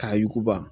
K'a yuguba